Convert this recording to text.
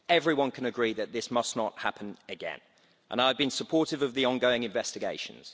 Everyone can agree that this must not happen again, and I have been supportive of the ongoing investigations.